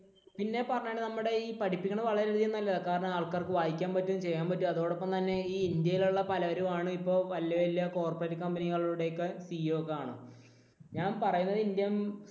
പിന്നെ പറയാനുള്ളത് നമ്മുടെ ഈ പഠിപ്പിക്കുന്നത് വളരെയധികം നല്ലതാ. കാരണം ആൾക്കാർക്ക് വായിക്കാൻ പറ്റും ചെയ്യാൻ പറ്റും. അതോടൊപ്പം തന്നെ ഇന്ത്യയിലുള്ള പലരും ആണ് ഇപ്പോൾ വലിയ വലിയ corporate company കളുടെ ഒക്കെ CEO ഒക്കെയാണ് ഞാൻ പറയുന്നത് ഇന്ത്യൻ